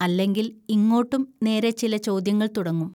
അല്ലെങ്കിൽ ഇങ്ങോട്ടും നേരെ ചില ചോദ്യങ്ങൾ തുടങ്ങും